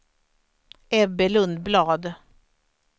Ebbe Lundblad